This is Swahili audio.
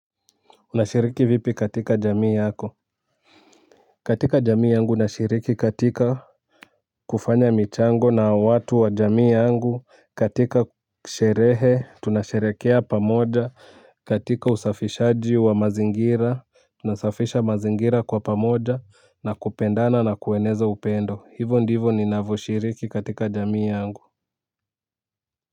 Unashiriki vipi katika jamii yako. Katika jamii yangu nashiriki katika kufanya michango na watu wa jamii yangu katika sherehe tunasherehekea pamoja katika usafishaji wa mazingira tunasafisha mazingira kwa pamoja na kupendana na kueneza upendo hivo ndivyo ninavyoshiriki katika jamii yangu.